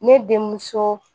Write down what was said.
Ne denmuso